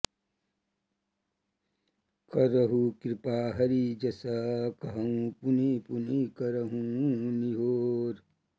करहु कृपा हरि जस कहउँ पुनि पुनि करउँ निहोर